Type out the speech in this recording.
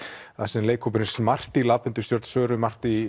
þar sem leikhópurinn smart í stjórn Söru